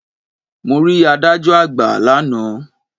Mo rí adájọ́ àgbà lánàá.